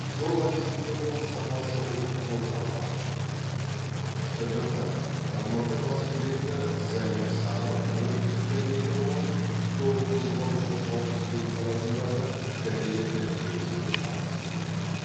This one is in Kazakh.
жол активтерінің сапасы ұлттық орталығы шжқ рмк бас директоры замир сағынов оңтүстік кореяда болып жол қозғалысы қауіпсіздігі саласындаы корея тәжірибесімен танысып қайтты